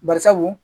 Bari sabu